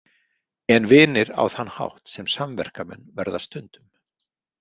En vinir á þann hátt sem samverkamenn verða stundum.